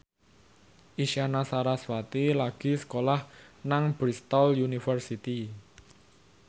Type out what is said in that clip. Isyana Sarasvati lagi sekolah nang Bristol university